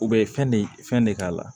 U bɛ fɛn de fɛn de k'a la